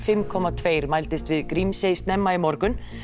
fimm komma tveir mældist við Grímsey snemma í morgun